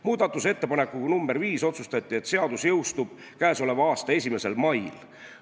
Muudatusettepanekuga nr 5 otsustati, et seadus jõustub k.a 1. mail.